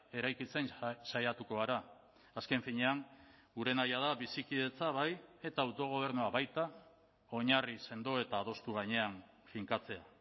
eraikitzen saiatuko gara azken finean gure nahia da bizikidetza bai eta autogobernua baita oinarri sendo eta adostu gainean finkatzea